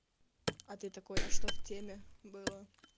а ты такой в что в теме было